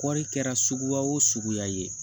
Kɔɔri kɛra suguya o suguya ye